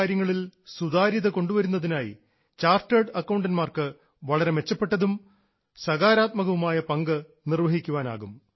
സാമ്പത്തിക കാര്യങ്ങളിൽ സുതാര്യത കൊണ്ടുവരുന്നതിനായി ചാർട്ടേഡ് അക്കൌണ്ടൻറ്സിന് വളരെ മെച്ചപ്പെട്ടതും സകാരാത്മകവുമായ പങ്ക് നിർവ്വഹിക്കാനാകും